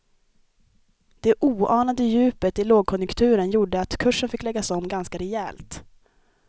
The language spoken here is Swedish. Det oanade djupet i lågkonjunkturen gjorde att kursen fick läggas om ganska rejält.